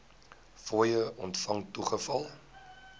fooie ontvang toegeval